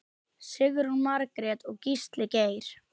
Sigrún Margrét og Gísli Geir.